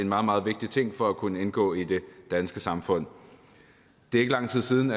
meget meget vigtig ting for at kunne indgå i det danske samfund det er ikke lang tid siden